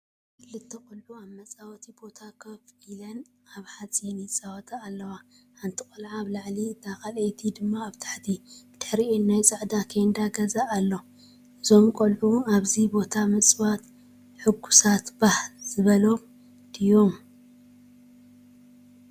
ክልተ ቆልዑ ኣብ መጻወቲ ቦታ ኮፍ ኢሎም ኣብ ሓፂን ይጻወቱ ኣለዉ። ሓንቲ ቆልዓ ኣብ ላዕሊ እታ ካልኣይቲ ድማ ኣብ ታሕቲ። ብድሕሪኦም ናይ ፃዕዳ ኬንዳ ገዛ ኣሎ። እዞም ቈልዑ ኣብዚ ቦታ ምጽዋት ሕጉሳት(ባህ) ዝበሎም ድዮም?